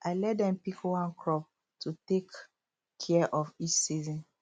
i let dem pick one crop to take care of each season